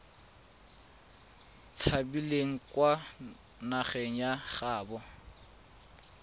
tshabileng kwa nageng ya gaabo